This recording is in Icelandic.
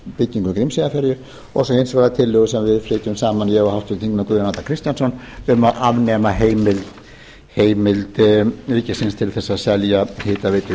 endurbyggingu grímseyjarferju og svo hins vegar tillögu sem við flytjum saman ég og háttvirtir þingmenn guðjón arnar kristjánsson um að afnema heimildir ríkisins til að selja hitaveitu